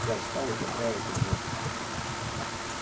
я встал и поправил пиджак